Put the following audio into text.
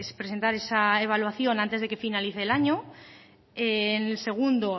presentar esa evaluación antes de que finalice el año el segundo